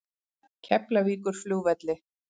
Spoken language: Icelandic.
Keflavíkurflugvelli